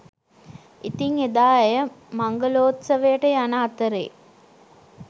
ඉතින් එදා ඇය මංගලෝත්සවයට යන අතරේ